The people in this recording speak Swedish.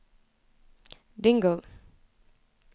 Dingle